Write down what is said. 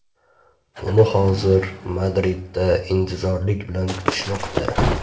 Uni hozir Madridda intizorlik bilan kutishmoqda.